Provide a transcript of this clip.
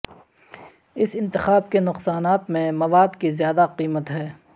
اس انتخاب کے نقصانات میں مواد کی زیادہ قیمت ہے